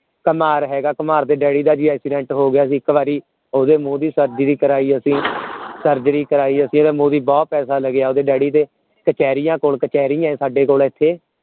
ਕੁਮਿਹਾਰ ਹੈਗਾ ਕੁਮਿਹਾਰ ਦੇ ਡੈਡੀ ਦਾ ਵੀ accident ਹੋ ਗਿਆ ਸੀ ਇਕ ਵਾਰੀ ਓਹਦੇ ਮੂੰਹ ਦੀ surgery ਕਰੈ ਅਸੀਂ ਕਰੈ ਅਸੀਂ ਓਹਦੇ ਮੂੰਹ ਦੀ ਬਹੁਤ ਪੈਸੇ ਲਗਿਆ ਓਹਦੇ ਡੈਡੀ ਤੇ ਕਚੇਰੀਆਂ ਕੋਲ ਕਚੈਰੀ ਹੈ ਸਾਡੇ ਕੋਲ ਇਥੇ